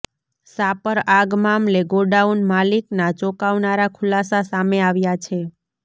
શાપર આગ મામલે ગોડાઉન માલિકના ચોંકાવનારા ખુલાસા સામે આવ્યા છે